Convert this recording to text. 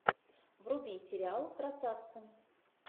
вруби сериал красавцы